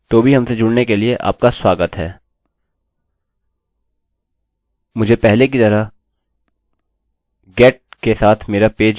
वास्तव में जो मैं करना चाहता हूँ वह है इसे बदलना और इसे post वेरिएबल के रूप में पोस्ट करना